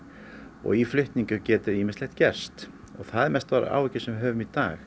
og í flutningi getur ýmislegt gerst og það eru mestu áhyggjur sem við höfum í dag